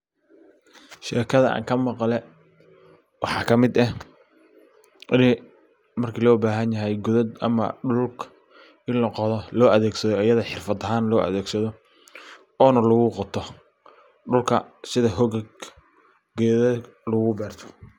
Shekada an ka maqle waxa ka mid eh waliba marki loo bahanyahay qodod ama dhulalka in la qodho iyada xirfad ahan loo adegsadho ona lagu qoto dhulka sidha hogag gedana lagu beerto.